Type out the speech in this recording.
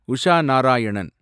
Usha Narayanan